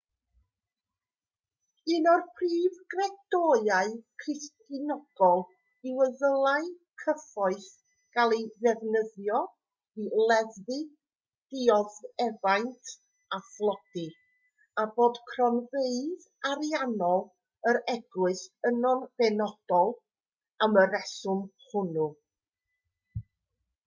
un o'r prif gredoau cristnogol yw y dylai cyfoeth gael ei ddefnyddio i leddfu dioddefaint a thlodi a bod cronfeydd ariannol yr eglwys yno'n benodol am y rheswm hwnnw